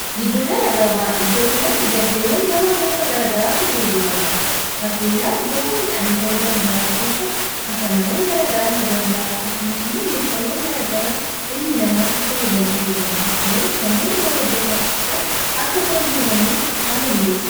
giddugala gabaa iddoo kanatti galteewwan gabaa gasa gara garaatu gurguraamaaa fakkeenyaaf gosa midhaanii ta'uu danda'a gosa kafanawwan gara garaa ta'uu danda'a akkasumas immoo meeshaawwan gara gara ilmi namaatti fayyadamu ta'uu danda'a koneess namoonni gara iddoo kanaa dhufuudhaan akka isaan bitatanii haala mijessa